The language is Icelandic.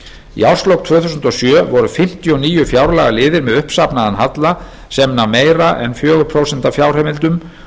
í árslok tvö þúsund og sjö voru fimmtíu og níu fjárlagaliðir með uppsafnaðan halla sem nam meira en fjögur prósent af fjárheimildum